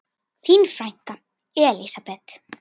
Þín frænka.